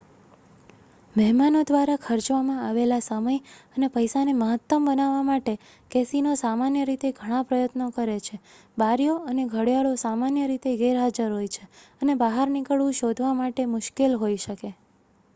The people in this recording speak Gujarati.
મહેમાનો દ્વારા ખર્ચવામાં આવેલા સમય અને પૈસાને મહત્તમ બનાવવા માટે કેસિનો સામાન્ય રીતે ઘણા પ્રયત્નો કરે છે બારીઓ અને ઘડિયાળો સામાન્ય રીતે ગેરહાજર હોય છે અને બહાર નીકળવું શોધવા માટે મુશ્કેલ હોઈ શકે